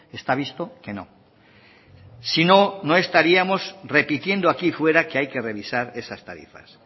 está visto que no sino no estaríamos repitiendo aquí fuera que hay que revisar esas tarifas